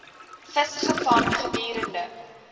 vis gevang gedurende